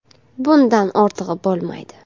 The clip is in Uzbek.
Bundan ortig‘i bo‘lmaydi.